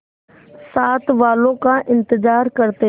साथ वालों का इंतजार करते